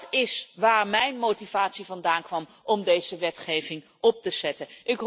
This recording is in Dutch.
Dat is waar mijn motivatie vandaan kwam om deze wetgeving op te stellen.